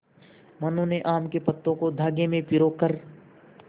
मनु ने आम के पत्तों को धागे में पिरो कर